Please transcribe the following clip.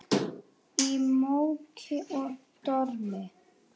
Í móki og dormi.